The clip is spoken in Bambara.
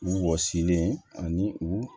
U wɔsilen ani u